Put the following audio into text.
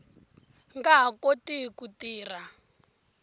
nga ha koti ku tirha